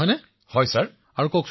শ্ৰী হৰি জি বিঃ হয় মহাশয়